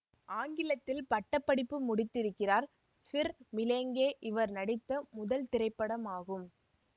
ஆங்கிலத்தில் பட்ட படிப்பு முடித்திருக்கிறார் ஃபிர் மிலேங்கே இவர் நடித்த முதல் திரைப்படமாகும்